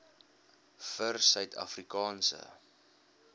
vir suid afrikaanse